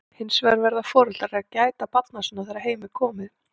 Hins vegar verða foreldrar að gæta barna sinna þegar heim er komið.